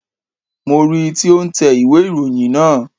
Mo ri tí ó n tẹ ìwé ìròyìn naa